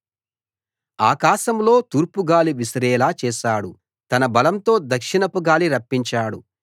ఆకాశంలో తూర్పు గాలి విసిరేలా చేశాడు తన బలంతో దక్షిణపు గాలి రప్పించాడు